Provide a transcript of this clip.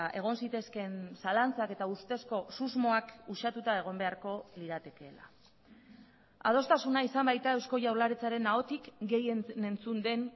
egon zitezkeen zalantzak eta ustezko susmoak usatuta egon beharko liratekeela adostasuna izan baita eusko jaurlaritzaren ahotik gehien entzun den